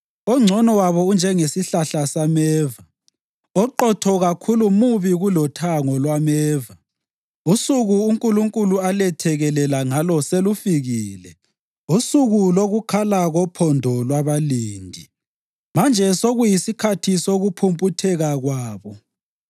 Ongcono wabo unjengesihlahla sameva, oqotho kakhulu mubi kulothango lwameva. Usuku uNkulunkulu alethekelela ngalo selufikile, usuku lokukhala kophondo lwabalindi. Manje sekuyisikhathi sokuphumputheka kwabo.